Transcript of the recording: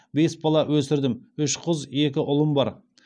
бес бала өсірдім үш қыз екі ұлым бар